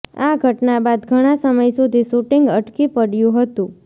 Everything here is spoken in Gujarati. આ ઘટના બાદ ઘણા સમય સુધી શુટિંગ અટકી પડ્યું હતું